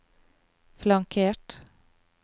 flankert